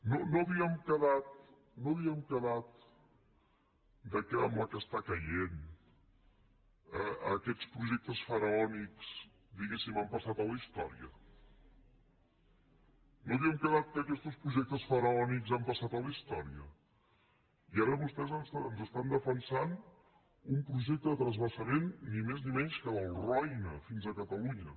no havíem quedat que amb la que està caient aquests projectes faraònics diguéssim han passat a la història no havíem quedat que aquestos projectes faraòniques han passat a la història i ara vostès ens estan defensant un projecte de transvasament ni més ni menys que del roine fins a catalunya